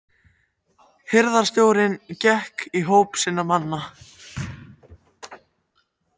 Hirðstjórinn gekk í hóp sinna manna.